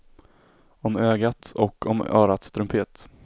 Om ögat och om örats trumpet.